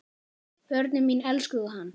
Börnin mín elskuðu hann.